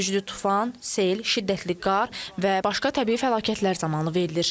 Güclü tufan, sel, şiddətli qar və başqa təbii fəlakətlər zamanı verilir.